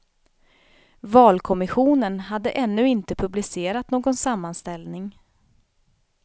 Valkommissionen hade ännu inte publicerat någon sammanställning.